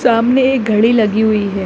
सामने एक घड़ी लगी हुई है।